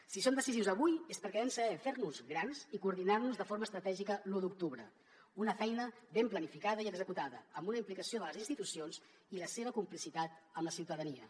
si som decisius avui és perquè vam saber fer nos grans i coordinar nos de forma estratègica l’u d’octubre una feina ben planificada i executada amb una implicació de les institucions i la seva complicitat amb la ciutadania